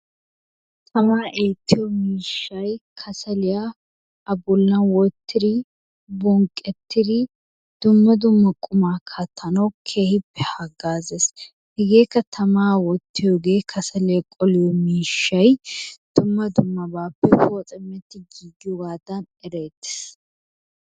Tamaa eettiyo miishshay kassalliya a bollan wottidi bonqqettidi dumma dumma qummaa kattanawu keehippe hagaazzees. hegeekka tamaa wottiyoge kassaliya qoliyo miishshay dumma dummabaappe poocametti giigiyoogadan erettees.